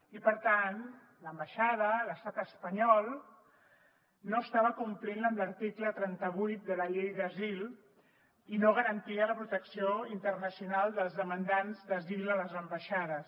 i per tant l’ambaixada l’estat espanyol no estava complint amb l’article trenta vuit de la llei d’asil i no garantia la protecció internacional dels demandants d’asil a les ambaixades